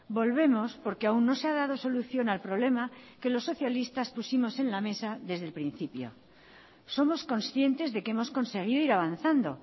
volvemos porque aún no se ha dado solución al problema que los socialistas pusimos en la mesa desde el principio somos conscientes de que hemos conseguido ir avanzando